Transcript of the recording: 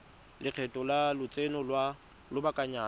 lekgetho la lotseno lwa lobakanyana